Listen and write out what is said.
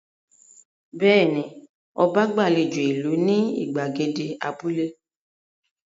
Bẹ́ẹ̀ ni, ọba gbàlejò ìlú ní ìgbàgede abúlé.